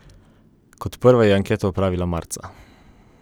Kot prva je anketo opravila Marca.